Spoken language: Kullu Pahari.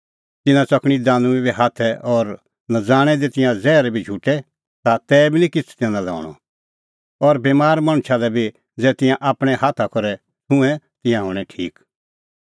तिन्नां च़कणीं दानुईं बी हाथै और नज़ाणै दी तिंयां ज़ैहर बी झुटे ता तैबी निं तिन्नां किछ़ हणअ और बमार मणछा लै बी ज़ै तिंयां आपणैं हाथा करै छुंए तिंयां हणैं ठीक